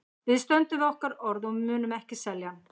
Við stöndum við orð okkar og við munum ekki selja hann.